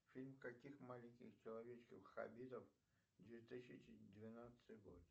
фильм каких маленьких человечков хоббитов две тысячи двенадцатый год